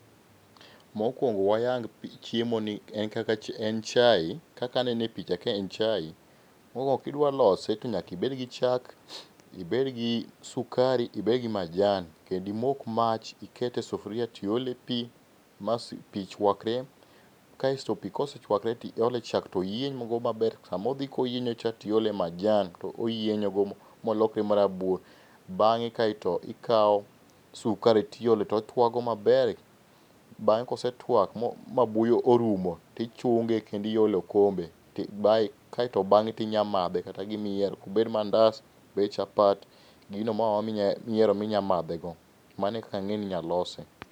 Mokuongo wayang chiemoni, en kaka en chai kaka anene e picha ka en chai. Mokuongo ka idwa lose to nyaka ibed gi chak, ibed gi sukari ibed gi majan. Kendo imok mach tikete sufuria to iole pi ma pi chwakre kaeto pi sechuakore to iole chak to oyienygo maber, sama odhi koyienyocha to iolie majan, oyienyogo molokre marabuor. Bang'e kaeto ikao sukari to iole to otuakgo maber. Bang'e kosetuak ma buoyo orumo to ichunge kendo iole e okombe, kae to bang'e to inyalo madhe gi gimiyiero obed mandas obed chapat, gino moro amora miyiero minyalo madhe go. Mano e kaka ang'eyo ni inyalo lose.